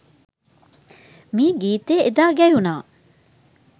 මේ ගීතය එදා ගැයුනා